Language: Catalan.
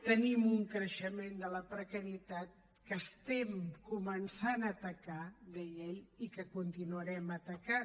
tenim un creixement de la precarietat que estem començant a atacar deia ell i que continuarem atacant